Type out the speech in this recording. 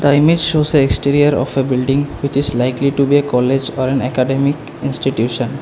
the image shows a exterior of a building which is likely to be a college or an academic institution.